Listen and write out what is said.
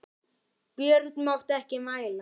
Björn mátti ekki mæla.